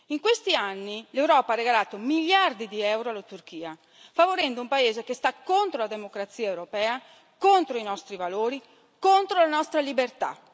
In questi anni l'Europa ha regalato miliardi di euro alla Turchia, favorendo un paese che è contro la democrazia europea, contro i nostri valori e contro la nostra libertà.